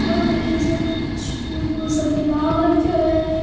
ओ तो एक इया स्विमिंग पूल सो की लाग रखो है।